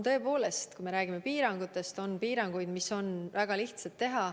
Tõepoolest, kui me räägime piirangutest, siis on piiranguid, mida on väga lihtne teha.